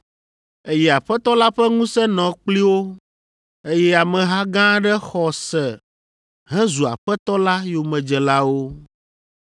Eye Aƒetɔ la ƒe ŋusẽ nɔ kpli wo, eye ameha gã aɖe xɔ se hezu Aƒetɔ la yomedzelawo.